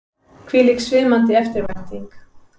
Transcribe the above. Hvílík svimandi eftirvænting!